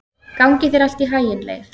Gangi þér allt í haginn, Leif.